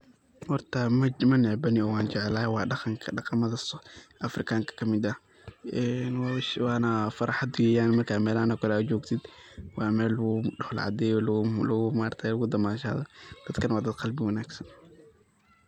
Horta ma necbani oo waan jeclahay wa daqanka daqamada afrikanka kamid ah een waana farxaad weyaan markad melaxaan oo kale aad jogtid waa mel lagu dhoola cadeyo lagu damashado dadkana waa dad qalbi wanagsan.